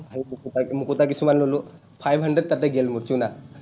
মুকুতা কিছুমান ল’লো। five hundred তাতে গেল মোৰ chuna ।